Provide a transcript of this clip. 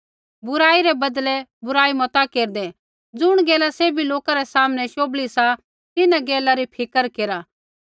बुराई रै बदले बुराई मता केरदै ज़ुण गैला सैभी लौका रै सामनै शोभली सा तिन्हां गैला री फिक्र केरा